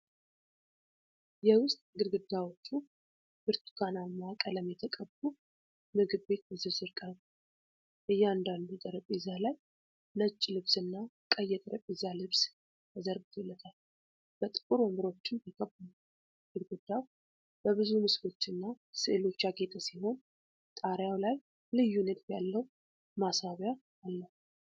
የውስጥ ግድግዳዎቹ ብርቱካናማ ቀለም የተቀቡ ምግብ ቤት በዝርዝር ቀርቧል። እያንዳንዱ ጠረጴዛ ላይ ነጭ ልብስ እና ቀይ የጠረጴዛ ልብስ ተዘርግቶለታል፤ በጥቁር ወንበሮችም ተከቧል። ግድግዳው በብዙ ምስሎችና ሥዕሎች ያጌጠ ሲሆን፣ ጣሪያው ላይ ልዩ ንድፍ ያለው ማስዋቢያ አለ።